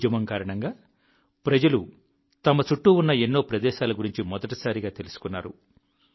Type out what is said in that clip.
ఈ ఉద్యమం కారణంగా ప్రజలు తమ చుట్టూ ఉన్న ఎన్నో ప్రదేశాల గురించి మొదటిసారిగా తెలుసుకున్నారు